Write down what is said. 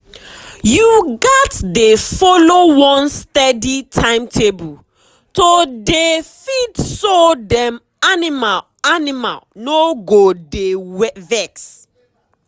you gats dey follow one steady timetable to dey feedso dem animal animal no go dey vex.